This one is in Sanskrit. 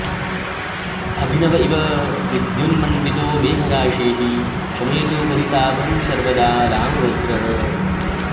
अभिनव इव विद्युन्मण्डितो मेघराशिः शमयतु परितापं सर्वदा रामभद्रः